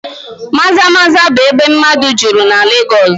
Maza-Maza bụ ebe mmadụ juru na Legọs